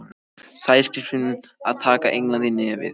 Sæskrímslin að taka England í nefið.